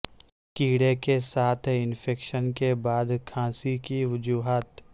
کیڑے کے ساتھ انفیکشن کے بعد کھانسی کی وجوہات